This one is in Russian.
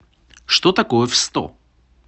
что такое в сто